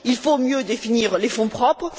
Il faut mieux définir les fonds propres.